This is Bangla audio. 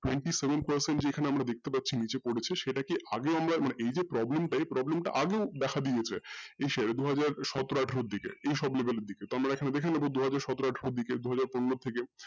twenty seven percent যেখানে আমরা দেখতে পাচ্ছি নিচে পড়েছে সেটাকে আগে আমরা এই যে এই problem টা আগেও দেখা দিয়েছে ই সে দুইহাজার সতর আঠারো এর দিকে এই সব গুলোর দিকে তো আমরা দেখে নেবো দুহাজার সতর আঠারো দিকে দুহাজার পনেরোর দিকে